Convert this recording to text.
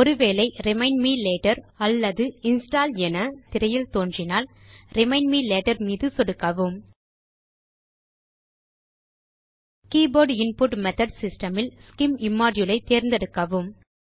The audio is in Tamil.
ஒரு வேளை remind me later or install now என திரையில் தோன்றினால் ரிமைண்ட் மே லேட்டர் மீது சொடுக்கவும் கீபோர்ட் இன்புட் மெத்தோட் சிஸ்டம் இல் scim இம்மோடியூல் ஐ தேர்ந்தெடுக்கவும்